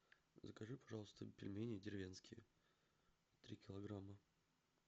закажи пожалуйста пельмени деревенские три килограмма